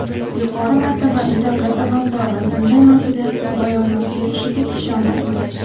Yuqori martabali davlat amaldori bunday mas’uliyatsiz bayonot berishiga ishonmayman.